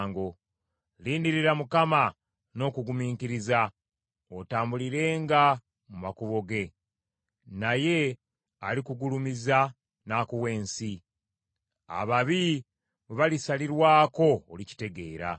Lindirira Mukama n’okugumiikiriza, otambulirenga mu makubo ge; naye alikugulumiza n’akuwa ensi; ababi bwe balisalirwako olikitegeera.